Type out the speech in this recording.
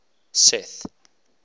seth